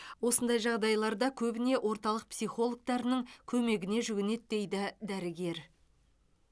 осындай жағдайларда көбіне орталық психологтарының көмегіне жүгінеді дейді дәрігер